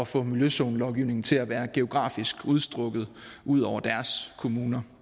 få miljøzonelovgivningen til at være geografisk udstrakt ud over deres kommuner